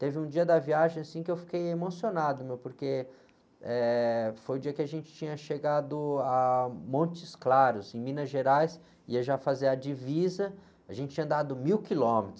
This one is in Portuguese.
Teve um dia da viagem, assim, que eu fiquei emocionado, porque, eh, foi o dia que a gente tinha chegado a Montes Claros, em Minas Gerais, ia já fazer a divisa, a gente tinha andado mil quilômetros.